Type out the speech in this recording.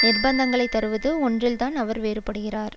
நிர்பந்தங்களை தருவது ஒன்றில்தான் அவர் வேறுபடுகிறார்